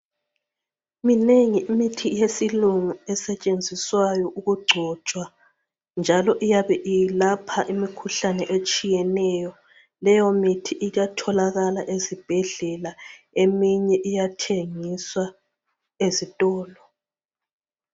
Minengi imithi yesilungu esetshenziswayo ukugcotshwa njalo iyabe ilapha imikhuhlane etshiyeneyo. Leyo mithi iyatholakala ezibhedlela eminye iyathengiswa ezitolo.